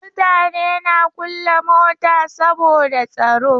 Mutane na kulle mota saboda tsaro.